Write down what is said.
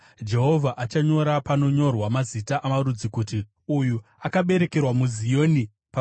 Jehovha achanyora panonyorwa mazita amarudzi, kuti, “Uyu akaberekerwa muZioni.” Sera